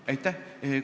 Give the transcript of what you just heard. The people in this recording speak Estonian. Aitäh!